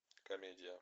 комедия